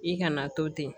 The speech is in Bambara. I kana to ten